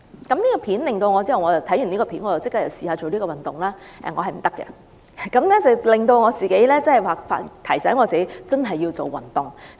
我看罷該段短片後立即嘗試做該套動作，結果發現我原來做不來，這正好提醒我要切實開始做運動。